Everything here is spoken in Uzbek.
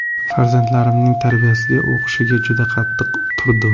Farzandlarimning tarbiyasiga, o‘qishiga juda qattiq turdim.